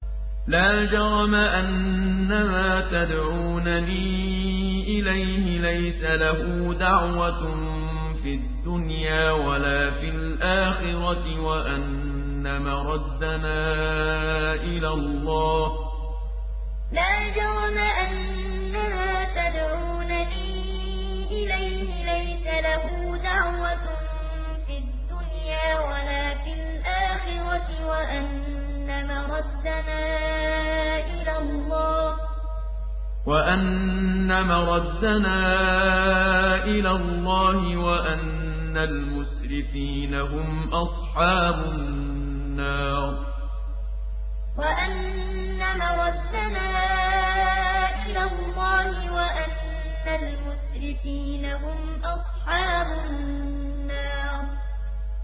لَا جَرَمَ أَنَّمَا تَدْعُونَنِي إِلَيْهِ لَيْسَ لَهُ دَعْوَةٌ فِي الدُّنْيَا وَلَا فِي الْآخِرَةِ وَأَنَّ مَرَدَّنَا إِلَى اللَّهِ وَأَنَّ الْمُسْرِفِينَ هُمْ أَصْحَابُ النَّارِ لَا جَرَمَ أَنَّمَا تَدْعُونَنِي إِلَيْهِ لَيْسَ لَهُ دَعْوَةٌ فِي الدُّنْيَا وَلَا فِي الْآخِرَةِ وَأَنَّ مَرَدَّنَا إِلَى اللَّهِ وَأَنَّ الْمُسْرِفِينَ هُمْ أَصْحَابُ النَّارِ